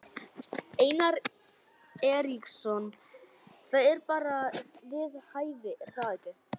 Einar Eiríksson: Það er bara við hæfi er það ekki?